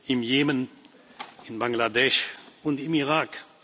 im Jemen, in Bangladesch und im Irak.